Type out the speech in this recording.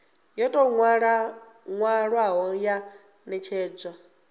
yo tou nwalwaho ya netshedzwa